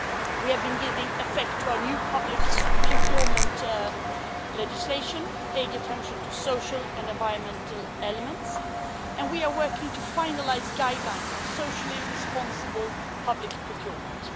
We have been giving effect to our new public procurement legislation, paying attention to social and environmental elements, and we are working to finalise guidelines on socially responsible public procurement.